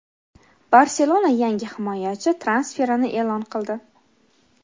"Barselona" yangi himoyachi transferini e’lon qildi.